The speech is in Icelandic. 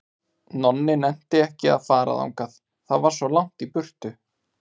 Nonni nennti ekki að fara þangað, það var svo langt í burtu.